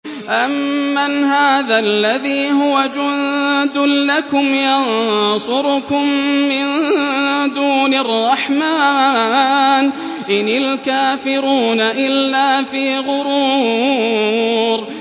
أَمَّنْ هَٰذَا الَّذِي هُوَ جُندٌ لَّكُمْ يَنصُرُكُم مِّن دُونِ الرَّحْمَٰنِ ۚ إِنِ الْكَافِرُونَ إِلَّا فِي غُرُورٍ